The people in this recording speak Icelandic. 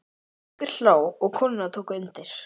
Haukur hló og konurnar tóku undir.